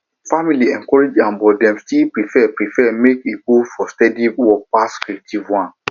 family encourage am but dem still prefer prefer make e go for steady work pass creative one